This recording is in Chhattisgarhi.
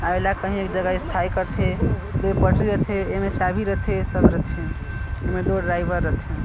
अउ एला कहीं एक जगह स्थाई करथे दो पटरी रथे एमे चाबी रथे सब रथे एमे दो ड्राइवर रथे।